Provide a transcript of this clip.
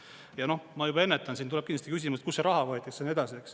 Ja noh, ma juba ennetan, siin tuleb kindlasti küsimus, et kust see raha võetakse ja nii edasi.